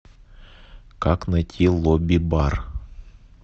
как найти лобби бар